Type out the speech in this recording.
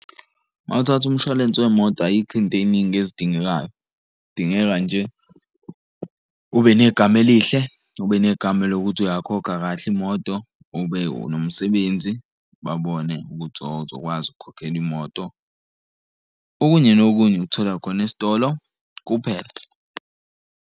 Uma uthatha umshwalense wemoto ayikho into ey'ningi ezidingekayo. Kudingeka nje ube negama elihle, ube negama lokuthi uyakhokha kahle imoto. Ube nomsebenzi babone ukuthi oho uzokwazi ukukhokhela imoto, okunye nokunye ukuthola khona esitolo kuphela.